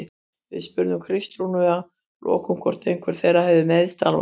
Við spurðum Kristrúnu að lokum hvort einhver þeirra hafi meiðst alvarlega?